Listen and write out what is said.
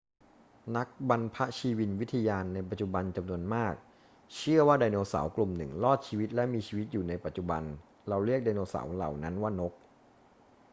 นักบรรพชีวินวิทยาในปัจจุบันจำนวนมากเชื่อว่าไดโนเสาร์กลุ่มหนึ่งรอดชีวิตและมีชีวิตอยู่ในปัจจุบัน เราเรียกไดโนเสาร์เหล่านั้นว่านก